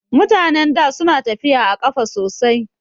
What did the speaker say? Mutanen da suna tafiya a ƙafa sosai